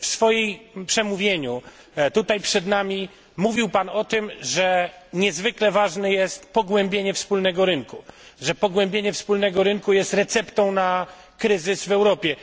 W swoim przemówieniu tutaj przed nami mówił pan o tym, że niezwykle ważne jest pogłębienie wspólnego rynku, że pogłębienie wspólnego rynku jest receptą na kryzys w Europie.